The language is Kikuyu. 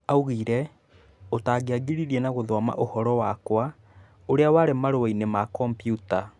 Augire, utangiangirĩre na gũthoma ũhoro wakwa ũria warĩ marũainĩ ma kambiuta